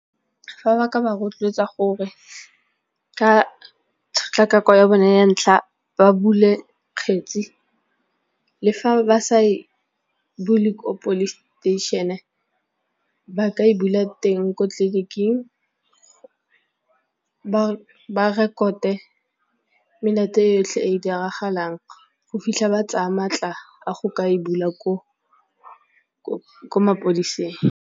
Fa ba ka ba rotloetsa gore ka tshotlakako ya bone ya ntlha ba bule kgetsi le fa ba sa e bule gore police station ba ka e bula teng ko tleliniking ba rekote yotlhe e diragalang go fitlha ba tsaya maatla a go ka e bula ko mapodiseng.